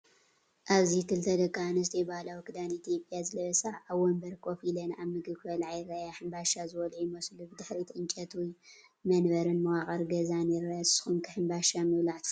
ኣብዚ ክልተ ደቀንስትዮ ባህላዊ ክዳን ኢትዮጵያ ዝለበሳ ኣብ መንበር ኮፍ ኢለን ኣብ ምግቢ ክበልዓ ይረኣያ። ሕንባሻ ዝበልዑ ይመስሉ። ብድሕሪት ዕንጨይቲ መንበርን መዋቕር ገዛን ይርአ። ንስኩም ከ ሕንባሻ ምብላዕ ትፈትው ዶ?